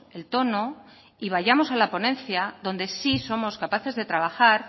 el tono y vayamos a la ponencia donde sí somos capaces de trabajar